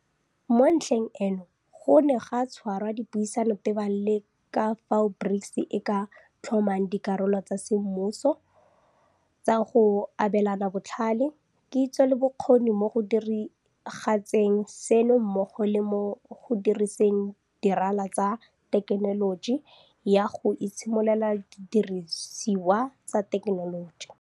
Mo ntlheng eno go ne ga tshwarwa dipuisano tebang le ka fao BRICS e ka tlhomang dirala tsa semmuso tsa go abelana botlhale, kitso le bokgoni mo go diragatseng seno mmogo le mo go diriseng dirala tsa thekenoloji ya go itshimololela didirisiwa tsa thekenoloji.